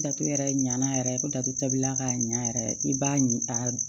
Dato yɛrɛ ɲina yɛrɛ ko datulila k'a ɲa yɛrɛ i b'a ɲin a